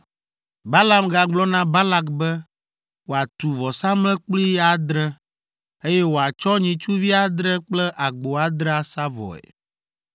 Balaam gagblɔ na Balak be wòatu vɔsamlekpui adre, eye wòatsɔ nyitsuvi adre kple agbo adre asa vɔe.